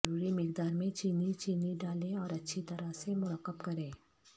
ضروری مقدار میں چینی چینی ڈالیں اور اچھی طرح سے مرکب کریں